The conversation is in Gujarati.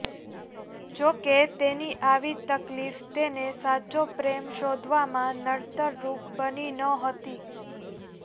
જો કે તેની આવી તકલીફ તેને સાચો પ્રેમ શોધવામાં નડતરરૂપ બની નહોતી